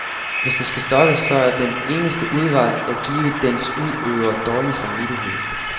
Hvis det skal stoppes, så er den eneste udvej at give dens udøvere dårlig samvittighed.